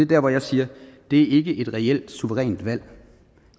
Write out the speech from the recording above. der hvor jeg siger det er ikke et reelt suverænt valg